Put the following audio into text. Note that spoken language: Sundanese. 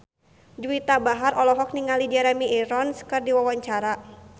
Juwita Bahar olohok ningali Jeremy Irons keur diwawancara